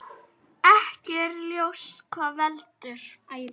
Ekki er ljóst hvað veldur.